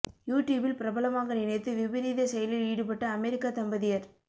U டியூபில் பிரபலமாக நினைத்து விபரீத செயலில் ஈடுபட்ட அமெரிக்க தம்பதியர்